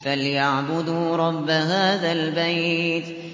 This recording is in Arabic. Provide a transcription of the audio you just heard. فَلْيَعْبُدُوا رَبَّ هَٰذَا الْبَيْتِ